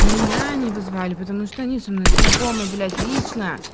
меня не вызывали потому что они со мной знакомы блять лично